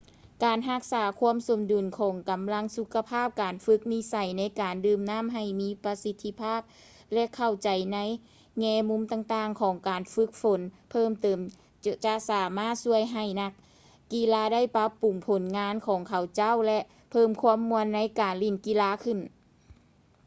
ການຮັກສາຄວາມສົມດຸນຂອງກຳລັງສຸຂະພາບ ການຝຶກນິໄສໃນການດື່ມນ້ຳໃຫ້ມີປະສິດທິພາບ ແລະ ເຂົ້າໃຈໃນແງ່ມຸມຕ່າງໆຂອງການຝຶກຝົນເພີ່ມເຕີມ ຈະສາມາດຊ່ວຍໃຫ້ນັກກິລາໄດ້ປັບປຸງຜົນງານຂອງເຂົາເຈົ້າ ແລະ ເພີ່ມຄວາມມ່ວນໃນການຫຼິ້ນກິລາຂຶ້ນ